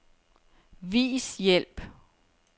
Vis hjælp.